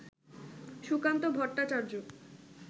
Sukanta Bhattacharya